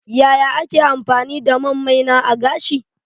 Yaya ake amfani da man maina a gashi?